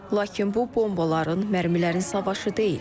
Lakin bu bombaların, mərmilərin savaşı deyil.